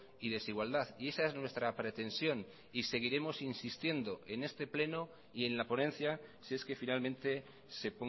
y desigualdad y esa es nuestra pretensión y seguiremos insistiendo en este pleno y en la ponencia si es que finalmente se